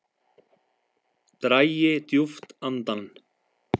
Dragi djúpt andann